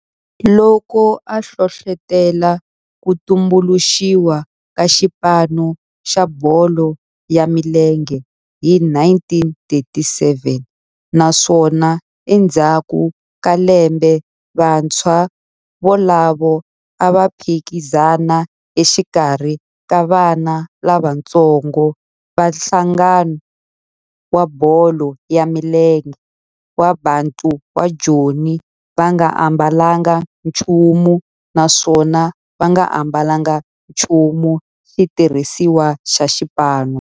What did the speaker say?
Loko a hlohlotela ku tumbuluxiwa ka xipano xa bolo ya milenge hi 1937 naswona endzhaku ka lembe vantshwa volavo a va phikizana exikarhi ka vana lavatsongo va nhlangano wa bolo ya milenge wa Bantu wa Joni va nga ambalanga nchumu naswona va nga ambalanga nchumu xitirhisiwa xa xipano.